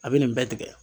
A bɛ nin bɛɛ tigɛ